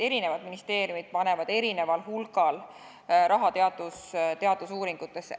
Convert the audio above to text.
Eri ministeeriumid panevad erineval hulgal raha teadusuuringutesse.